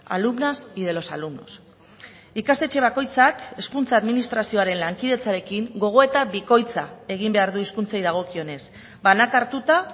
alumnas y de los alumnos ikastetxe bakoitzak hezkuntza administrazioaren lankidetzarekin gogoeta bikoitza egin behar du hizkuntzei dagokionez banaka hartuta